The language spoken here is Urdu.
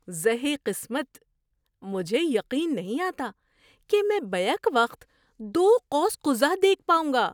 زہے قسمت، مجھے یقین نہیں آتا کہ میں بیک وقت دو قوس قزح دیکھ پاؤں گا!